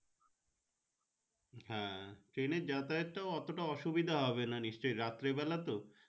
train এর যাতায়াত টা এতটা ঔশীবিধা হবে না রাত্রি বেলা তো।